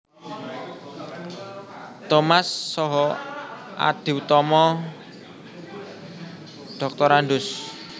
Thomas Saha Adiutomo Drs